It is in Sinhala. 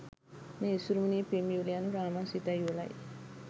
මේ ඉසුරුමුණියේ පෙම් යුවල යනු රාමා සීතා යුවලයි.